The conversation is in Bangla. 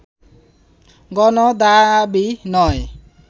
গণদাবী নয়